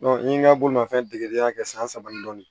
n ye n ka bolomanfɛn degedenya kɛ san saba ni dɔɔnin